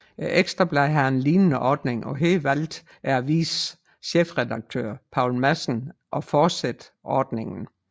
Ekstra Bladet har en lignende ordning og her valgte avisens chefredaktør Poul Madsen at fortsætte ordningen